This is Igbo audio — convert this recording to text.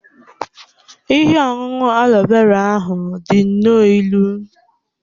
Ihe ọṅụṅụ aloe vera ahụ dị nnọọ ilu.